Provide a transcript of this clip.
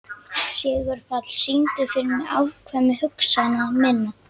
Sigurpáll, syngdu fyrir mig „Afkvæmi hugsana minna“.